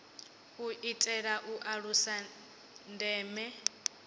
u itela u alusa ndeme